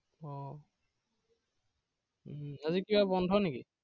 আহ উম হেৰি কিবা বন্ধ নেকি?